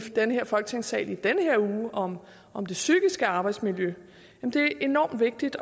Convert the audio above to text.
den her folketingssal i den her uge om om det psykiske arbejdsmiljø det er enormt vigtigt